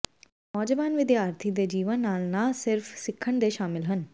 ਪਰ ਨੌਜਵਾਨ ਵਿਦਿਆਰਥੀ ਦੇ ਜੀਵਨ ਨਾਲ ਨਾ ਸਿਰਫ਼ ਸਿੱਖਣ ਦੇ ਸ਼ਾਮਲ ਹਨ